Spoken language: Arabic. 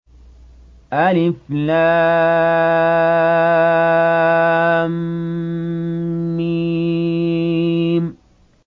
الم